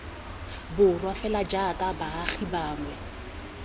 borwa fela jaaka baagi bangwe